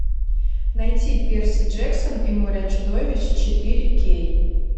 найти перси джексон и море чудовищ четыре кей